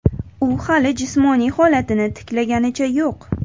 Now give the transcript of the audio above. U hali jismoniy holatini tiklaganicha yo‘q.